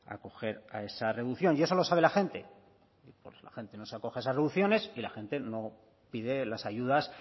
acoger a esa reducción y eso lo sabe la gente pues la gente no se acoge a esas reducciones y la gente no pide las ayudas